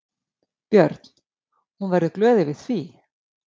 Björn: Hún verður glöð yfir því?